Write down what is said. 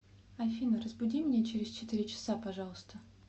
афина разбуди меня через четыре часа пожалуйста